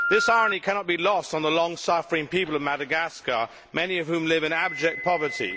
This irony cannot be lost on the long suffering people of Madagascar, many of whom live in abject poverty.